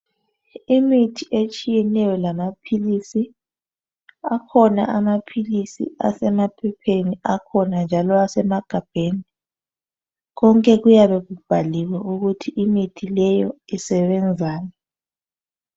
Imithi etshiyetshiyeneyo lamaphilisi, akhona amaphilisi asemaphepheni akhona njalo asemagabheni konke kuyabe kubhaliwe ukuthi imithi leyo isebenzani.